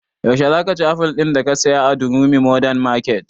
Yaushe za ka ci aful din da ka saya a durumi modern market?